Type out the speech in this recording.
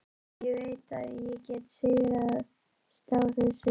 En ég veit að ég get sigrast á þessu.